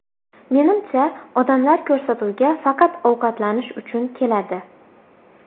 Menimcha, odamlar ko‘rsatuvga faqat ovqatlanish uchun keladi.